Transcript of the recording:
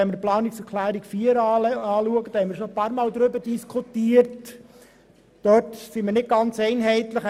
Was die Planungserklärung 4 betrifft, sind wir uns nicht ganz einig: